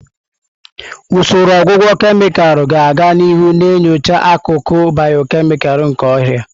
Usoro ọgwụgwọ kemịkalụ ga-aga n'ihu na-enyocha akụkụ bịọkemịkal nke ọrịa.